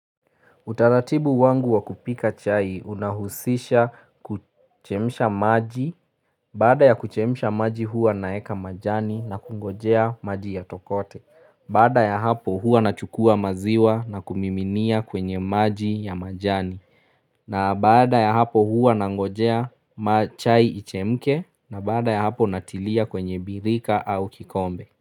Utaratibu wangu wa kupika chai unahusisha kuchemisha maji, bada ya kuchemisha maji hua naeka majani na kungojea maji ya tokote, bada ya hapo hua na chukua maziwa na kumiminia kwenye maji ya majani, na baada ya hapo hua na ngojea machai ichemke, na baada ya hapo natilia kwenye birika au kikombe.